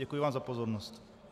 Děkuji vám za pozornost.